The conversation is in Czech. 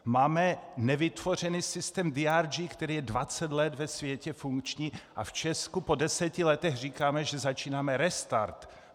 Máme nevytvořený systém DRG, který je 20 let ve světě funkční, a v Česku po deseti letech říkáme, že začínáme restart.